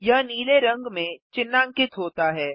यह नीले रंग में चिह्नांकित होता है